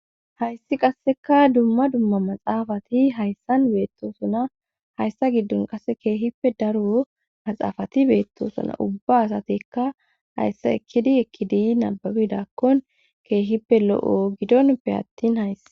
Hayssi qasseka dumma dumma maxaafati hayssan beettosuna hayssa giddon qase keehippe daru maxaafati beettosuna ubba asatikka hayssa ekkidi ekkidi nababidakkon keehippe lo7o gidonpe attin hayssa.